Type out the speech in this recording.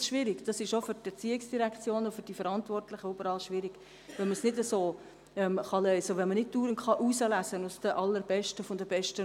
Auch ich wäre überfordert, wenn ich das einfach liefern sollte.